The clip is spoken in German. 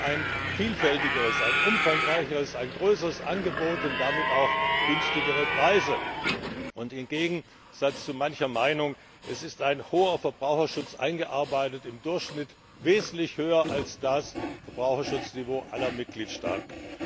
Sie bekommen ein vielfältigeres, ein umfangreicheres, ein größeres Angebot und damit auch günstigere Preise. Im Gegensatz zu mancher Meinung ist ein hoher Verbraucherschutz eingearbeitet im Durchschnitt wesentlich höher als das Verbraucherschutzniveau aller Mitgliedstaaten.